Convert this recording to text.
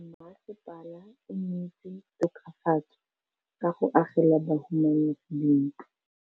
Mmasepala o neetse tokafatsô ka go agela bahumanegi dintlo.